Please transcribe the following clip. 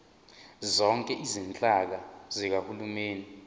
zonke izinhlaka zikahulumeni